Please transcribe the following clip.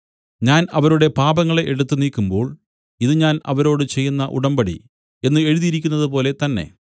ഞാൻ അവരുടെ പാപങ്ങളെ എടുത്തു നീക്കുമ്പോൾ ഇതു ഞാൻ അവരോട് ചെയ്യുന്ന ഉടമ്പടി എന്നു എഴുതിയിരിക്കുന്നതുപോലെ തന്നെ